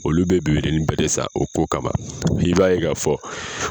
Olu be bebedenin bɛ de san o ko kama. I b'a ye Ka fɔ